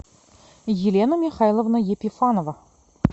елена михайловна епифанова